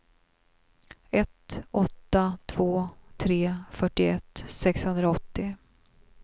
ett åtta två tre fyrtioett sexhundraåttio